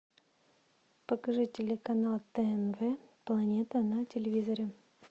покажи телеканал тнв планета на телевизоре